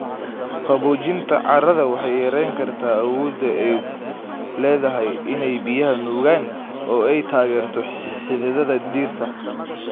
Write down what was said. Qaboojinta carrada waxay yarayn kartaa awoodda ay u leedahay in ay biyaha nuugaan oo ay taageerto xididdada dhirta.